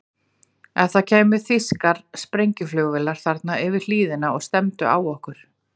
Ef það kæmu þýskar sprengjuflugvélar þarna yfir hlíðina og stefndu á okkur?